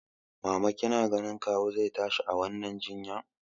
Mama kina tunanin kawu zai tashi a wannan jinya?